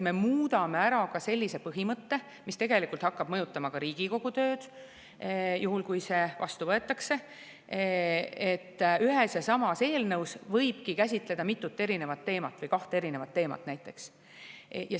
Me muudame ära ka sellise põhimõtte, mis tegelikult hakkab mõjutama Riigikogu tööd, juhul kui see vastu võetakse, nii et ühes ja samas eelnõus võibki käsitleda mitut teemat, näiteks kahte eri teemat.